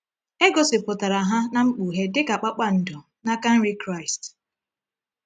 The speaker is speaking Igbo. E gosipụtara ha na Mkpughe dị ka kpakpando n’aka nri Kraịst.